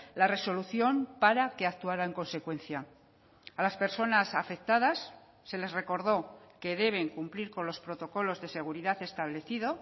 la resolución para que actuara en consecuencia a las personas afectadas se les recordó que deben cumplir con los protocolos de seguridad establecido